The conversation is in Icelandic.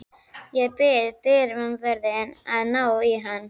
Ég bið dyravörðinn að ná í hann.